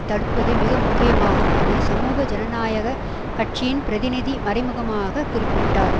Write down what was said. தடுப்பது மிக முக்கியமாகும் என சமூக ஜனநாயக கட்சியின் பிரதிநிதி மறைமுகமாக குறிப்பிட்டார்